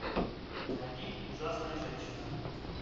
найди ужасная женщина